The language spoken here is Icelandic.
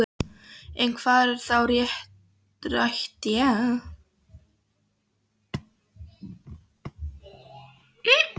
En hvað var þá rætt í einn og hálfan tíma?